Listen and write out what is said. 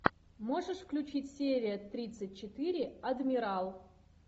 можешь включить серия тридцать четыре адмирал